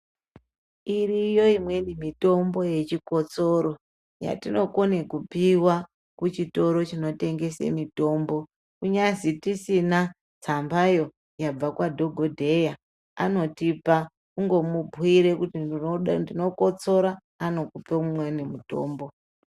Iriyo imweni mitombo yechikotsoro yatinokone kupiwa kuchitoro chinotengeswa mitombo kunyazi tisina tsambayo yabva kwadhokodheya anotipa kungomubhuyira kuti ndinokotsora anokupe imweni mitombo.